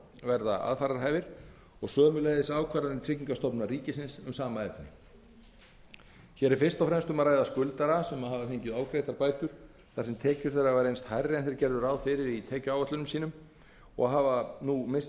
verða aðfararhæfir og sömuleiðis ákvarðanir tryggingastofnunar ríkisins um sama efni hér er fyrst og fremst um að ræða skuldara sem hafa fengið ofgreiddar bætur þar sem tekjur þeirra hafa reynst hærri en þeir gerðu ráð fyrir í tekjuáætlunum og hafa nú misst